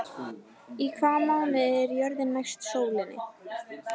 Í hvaða mánuði er jörðin næst sólinni?